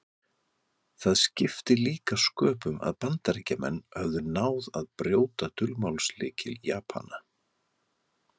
Það skipti líka sköpum að Bandaríkjamenn höfðu náð að brjóta dulmálslykil Japana.